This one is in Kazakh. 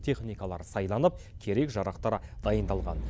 техникалар сайланып керек жарақтар дайындалған